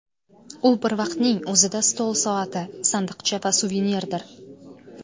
U bir vaqtning o‘zida stol soati, sandiqcha va suvenirdir.